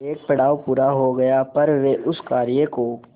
एक पड़ाव पूरा हो गया पर वे उस कार्य को